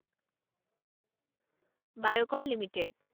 Biocon limited